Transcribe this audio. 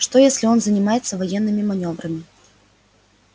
что если он занимается военными манёврами